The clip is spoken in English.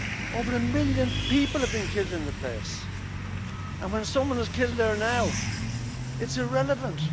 Over a million people have been killed in the place, and when someone is killed there now, it's irrelevant!